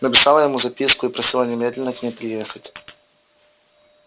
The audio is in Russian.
написала ему записку и просила немедленно к ней приехать